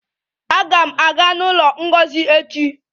Aga m aga n'ụlọ Ngozi echi